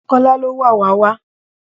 Kola ló wàwá wá